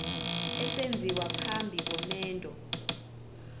esenziwa phambi komendo